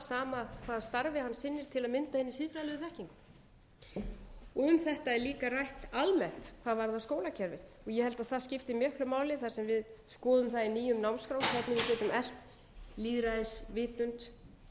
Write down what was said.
sama hvaða starfi hann sinnir til að mynda hina siðfræðilegu þekkingu um þetta er líka rætt almennt hvað varðar skólakerfið ég held að það skipti miklu máli þar sem við skoðum það í nýjum námskrá hvernig við getum eflt lýðræðisvitund